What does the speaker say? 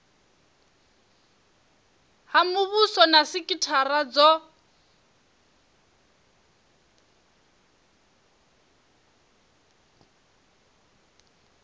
ha muvhuso na sikithara dzo